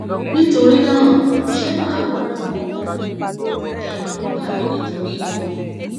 nítorí náà ṣé màá bọ lọwọ wọn wọn ẹrù ń bà mí nítorí wọn